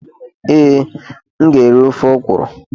Ee, m ga-eri ofe ọkwuru.